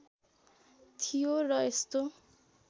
थियो र यस्तो